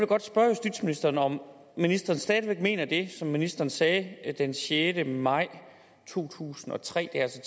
godt spørge justitsministeren om ministeren stadig væk mener det som ministeren sagde den sjette maj to tusind og tre altså